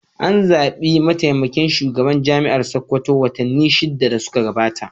An zaɓi mataimakin shugaban Jami'ar Sakkwato watanni shida da suka gabata.